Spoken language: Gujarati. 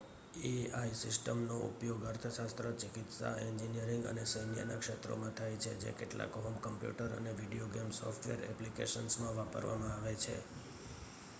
એઆઈ સિસ્ટમનો ઉપયોગ અર્થશાસ્ત્ર ચિકિત્સા એન્જિનીયરિંગ અને સૈન્યના ક્ષેત્રોમાં થાય છે જે કેટલાક હોમ કમ્પ્યુટર અને વીડિયો ગેમ સોફ્ટવેર એપ્લિકેશન્સમાં વાપરવામાં આવે છે